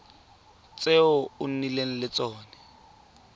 tse o nnileng le tsone